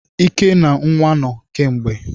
Ike na nwa no kemgbe.